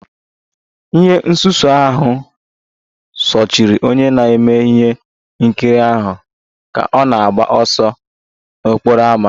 Ihe nsuso ahụ sochiri onye na-eme ihe nkiri ahụ ka ọ na-agba ọsọ n'okporo ámá